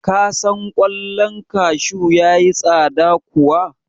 Ka san ƙwallon kashu ya yi tsada kuwa?